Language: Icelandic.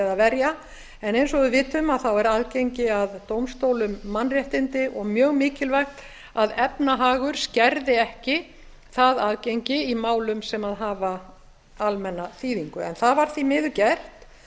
eða verja eins og við vitum er aðgengi að dómstólum mannréttindi og mjög mikilvægt að efnahagur skerði ekki það aðgengi í málum sem hafa almenna þýðingu það var því miður gert